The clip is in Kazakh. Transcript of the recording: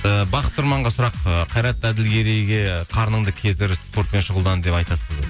ііі бақыт тұрманға сұрақ ы қайрат әділгерейге қарныңды кетір спортпен шұғылдан деп айтасыз ба